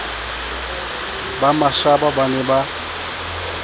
ba mashaba ba ne ba